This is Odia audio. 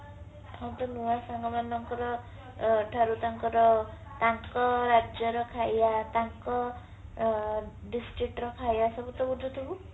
ଆଉ ତୋ ନୂଆ ସାଙ୍ଗ ମାନଙ୍କର ଠାରୁ ତାଙ୍କର ତାଙ୍କ ରାଜ୍ୟର ଖାଇବା ତାଙ୍କ district ର ଖାଇବା ସବୁ ତ ବୁଝୁଥିବୁ